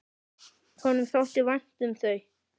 Honum þótti vænt um þau.